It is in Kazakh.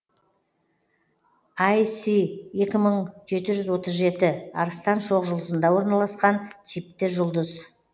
ай си екі мың жеті жүз отыз жеті арыстан шоқжұлдызында орналасқан типті жұлдыз